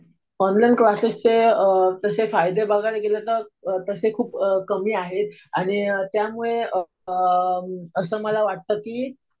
Online क्लासेसचे अ तसे फायदे बघायला गेलं तर तसे खूप कमी आहेत. आणि त्यामुळे अ असं मला वाटतं कि